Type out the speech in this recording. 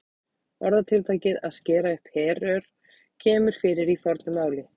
Orðatiltækið að skera upp herör kemur fyrir í fornu máli.